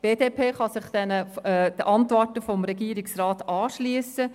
Die BDP kann sich den Antworten des Regierungsrats anschliessen.